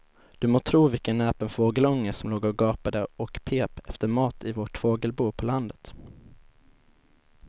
Du må tro vilken näpen fågelunge som låg och gapade och pep efter mat i vårt fågelbo på landet.